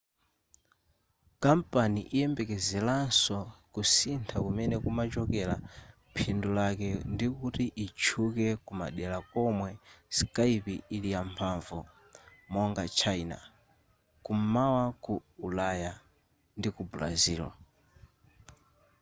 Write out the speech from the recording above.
kampani ikuyembekezeranso kusintha kumene kumachokera phindu lake ndikuti itchuke kumadera komwe skype ili yamphamvu monga china kum'mawa ku ulaya ndi ku brazil